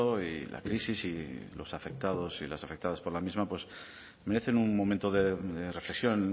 y la crisis y los afectados y las afectadas por la misma pues merecen un momento de reflexión